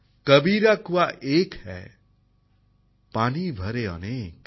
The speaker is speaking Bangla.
কবীরা কুয়া এক হ্যায় পানি ভরে অনেক